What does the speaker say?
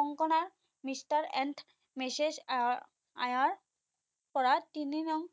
Konkona Mr and Mrs Iyer পৰা তিনি নং